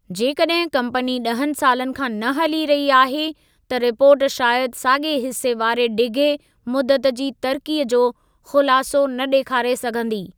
जेकॾहिं कम्पनी ॾहनि सालनि खां न हली रही आहे, त रिपोर्ट शायदि साॻिए हिसे वारे डिघे मुदत जी तरिक़ीअ जो ख़ुलासो न ॾेखारे सघंदी।